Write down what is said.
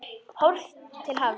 Horft til hafs.